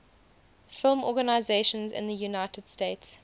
film organizations in the united states